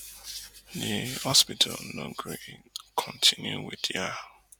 di hospital no gree kontinu wit dia